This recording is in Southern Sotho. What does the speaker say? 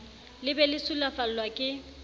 le be le sulafallwa ke